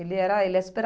Ele era ele é super